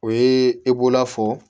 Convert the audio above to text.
O ye e b'ola fɔ